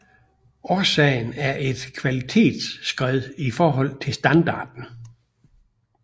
Årsagen er et kvalitetsskred i forhold til standarden